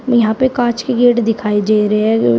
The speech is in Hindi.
यहां पे कांच के गेट दिखाई दे रहे हैं जो--